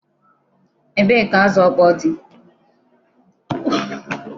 Ebee ka azụ ọkpọọ dị?